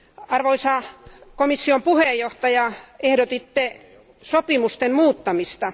Arvoisa komission puheenjohtaja, ehdotitte sopimusten muuttamista.